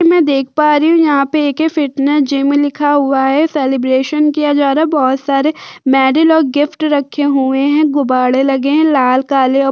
मैं देख पा रही हूं यहाँ पर एके फिटनेस जिम लिखा हुआ है सेलिब्रेशन किया जा रहा है बहुत सारे मेडल और गिफ्ट रखे हुए हैं गुब्बारे लगे हैं लाल काले और --